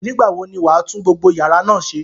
Nígbà wo ni wà á tún gbogbo yàrá náà ṣe?